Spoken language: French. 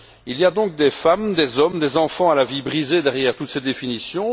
Il y a donc des femmes, des hommes, des enfants à la vie brisée derrière toutes ces définitions.